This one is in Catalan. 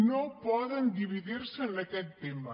no poden dividir se en aquest tema